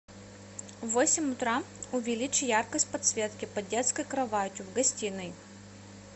в восемь утра увеличь яркость подсветки под детской кроватью в гостиной